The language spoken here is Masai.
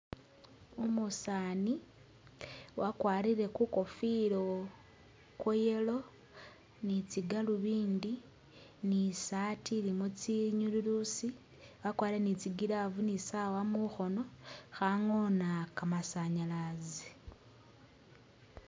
Umusaani wakwarile kukofila kwa yellow ni tsigaluvindi bi saati ilimo tsinyululusi, wakwarile ni tsi glove ni Sawa mukhoono khangoona kamasanyalaazi.